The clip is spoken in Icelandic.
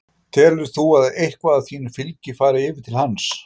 Telur þú að eitthvað af þínu fylgi fari yfir til hans?